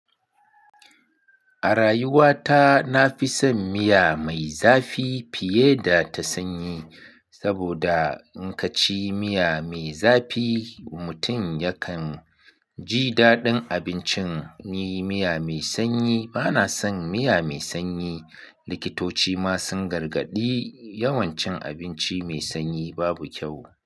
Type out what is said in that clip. A rayuwa ta na fi son miya mai zafi fiye da ta sanyi. Saboda in ka ci miya mai zafi, mutum yakan ji daɗin abincin. Ni miya mai sanyi bana son miya mai sanyi. Likitoci ma sun gargadi yawan cin abinci mai sanyi babu kyau.